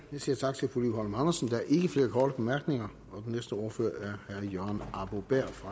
siger tak til fru liv holm andersen der er ikke flere korte bemærkninger den næste ordfører er herre jørgen arbo bæhr fra